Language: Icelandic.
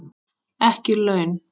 Ekki laun.